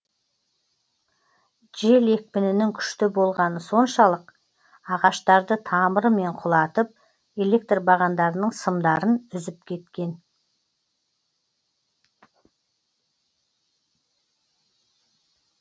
жел екпінінің күшті болғаны соншалық ағаштарды тамырымен құлатып электр бағандарының сымдарын үзіп кеткен